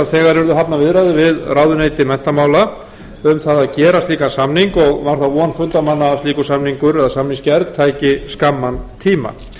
að þegar yrðu hafnar viðræður við ráðuneyti menntamála um að gera slíkan samning og var það von fundarmanna að slíkur samningur eða samningsgerð tæki skamman tíma